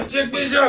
Çəkməyəcəm!